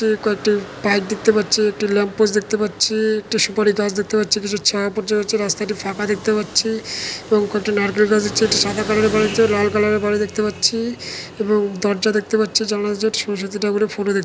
কয়েকটি পাইপ দেখতে পাচ্ছি একটি ল্যাম্প পোস্ট দেখতে পাচ্ছি-ই একটি সুপারি গাছ দেখতে পাচ্ছি কিছু ছায়া পড়েছে রাস্তাটি ফাঁকা দেখতে পাচ্ছি এবং কয়েকটি নারকেল গাছ দেখছি একটি সাদা কালার লাল কালার -এর গাড়ি দেখতে পাচ্ছি এবং দরজা দেখতে পাচ্ছি জানালা একটি সরস্বতী ঠাকুরের ফটো দেখ--